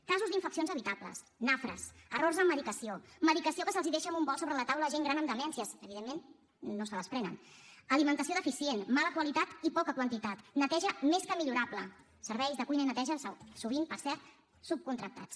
casos d’infeccions evitables nafres errors en medicació medicació que es deixa en un bol sobre la taula a gent gran amb demències evidentment no se les prenen alimentació deficient mala qualitat i poca quantitat neteja més que millorable serveis de cuina i neteja sovint per cert subcontractats